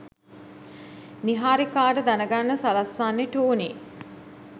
නිහාරිකාට දැනගන්න සලස්වන්නෙ ටෝනි.